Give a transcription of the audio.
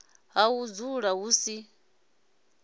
ha u dzula hu si